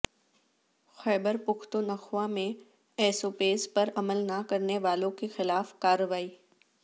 خیبر پختونخوا میں S O Ps پر عمل نہ کرنے والوں کے خلاف کارروائی